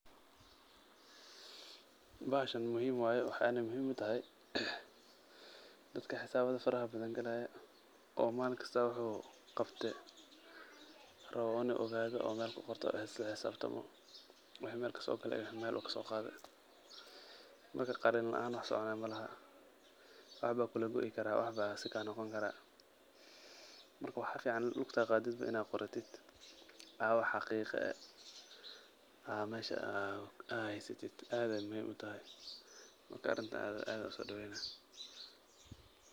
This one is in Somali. Bahashan muhiim waay. Waxayn muhiim u tahay dadka hisaabada faraxbadan galaaya oo malin kasta waxuu qabtay rabo inuu ogaado oo meel ku qorto isla hisaabtamo waxii meel kasoo galay iyo wixii meel uu kasoo qaaday. Marka, qalin lacaan wax soconaa malaha. Wax baa kula goikaraa, wax baa si kaanoqonkaraa. Marka, wax ficaan lugta aad qaadidba in aad qoratid aa wax xaqiiqo ah aa meesha aad haysatid aad ayaay muhiim utahay. Marka, arintaan aad ayaan u soo doweyna.